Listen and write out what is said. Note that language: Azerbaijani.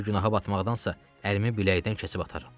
Belə günaha batmaqdansa ərimi biləkdən kəsib ataram.